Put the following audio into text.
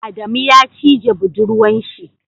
Adamu ya cije buɗurwan shi.